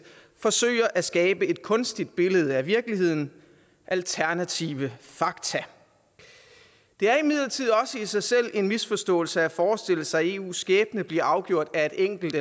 forsøger at skabe et kunstigt billede af virkeligheden alternative fakta det er imidlertid også i sig selv en misforståelse at forestille sig eus skæbne blive afgjort af et enkelt